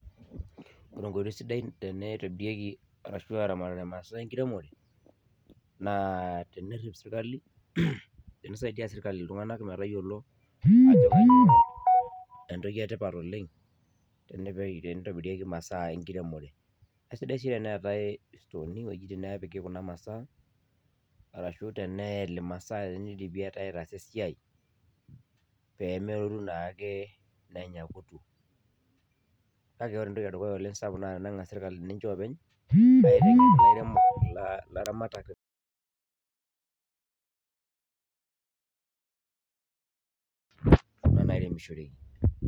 Ore enkoitoi sidai tene itobirieki arashu aramatare imasaa enkiremore naa tenerrip sirkali tenisaidia sirkali iltung'anak metayiolo ajo kanyio entoki etipat oleng tenepe tenitobirieki imasaa enkiremore aisidai sii enetae istooni iwuejitin nepiki kuna masaa arashu teneyeli imasaa tenidipi ai aitaasa esiai peme pemelotu naake nenya kutu kake ore entoki edukuya oleng sapuk naa teneng'as sirkali ninche openy aiteng'en ilairemok ila ilaramatak kuna nairemishoreki.